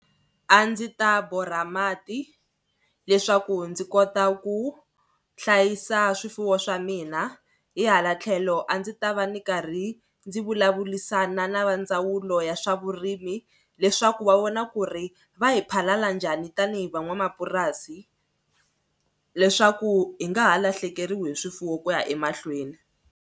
A ndzi ta borha mati leswaku ndzi kota ku hlayisa swifuwo swa mina hi hala tlhelo a ndzi ta va ni karhi ndzi vulavurisana na va ndzawulo ya swa vurimi leswaku va vona ku ri va hi phalaphala njhani tanihi van'wamapurasi leswaku hi nga ha lahlekeriwa hi swifuwo ku ya emahlweni.